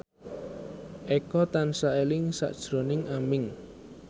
Eko tansah eling sakjroning Aming